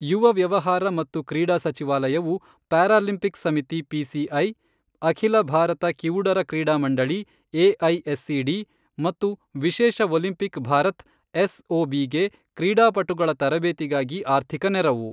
ಯುವ ವ್ಯವಹಾರ ಮತ್ತು ಕ್ರೀಡಾ ಸಚಿವಾಲಯವು ಪ್ಯಾರಾಲಿಂಪಿಕ್ಸ್ ಸಮಿತಿ ಪಿಸಿಐ, ಅಖಿಲ ಭಾರತ ಕಿವುಡರ ಕ್ರೀಡಾ ಮಂಡಳಿ ಎಐಎಸ್ಸಿಡಿ ಮತ್ತು ವಿಶೇಷ ಒಲಿಂಪಿಕ್ ಭಾರತ್ ಎಸ್ಒಬಿ ಗೆ ಕ್ರೀಡಾಪಟುಗಳ ತರಬೇತಿಗಾಗಿ ಆರ್ಥಿಕ ನೆರವು.